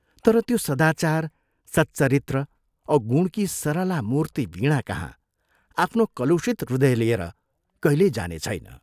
तर त्यो सदाचार, सच्चरित्र औ गुणकी सरला मूर्ति वीणाकहाँ आफ्नो कलुषित हृदय लिएर कहिल्यै जानेछैन।